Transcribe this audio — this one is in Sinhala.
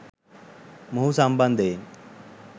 මොහු සම්බන්ධයෙන්